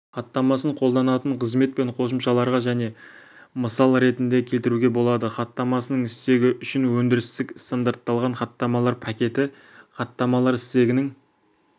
хаттамасын қолданатын қызмет пен қосымшаларға және мысал ретінде келтіруге болады хаттамасының стегі үшін өндірістік стандартталған хаттамалар пакеті хаттамалар стегінің